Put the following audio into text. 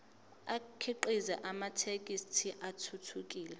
akhiqize amathekisthi athuthukile